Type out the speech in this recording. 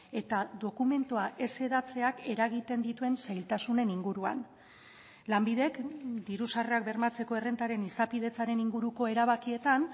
eta dokumentua ez hedatzeak eragiten dituen zailtasunen inguruan lanbidek diru sarrerak bermatzeko errentaren izapidetzaren inguruko erabakietan